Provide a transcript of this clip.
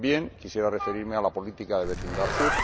También quisiera referirme a la política de vecindad sur,